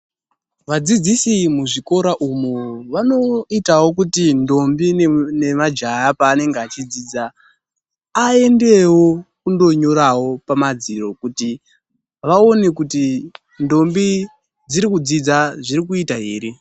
Vadzidzisi muzvikora umu vanoitawo kuti ndombi nemajaya pavanenge vachidzidza, aendewo kundonyorawo pamadziro kuti vaone kuti ndombi dziri kudzidza zviri kuita here.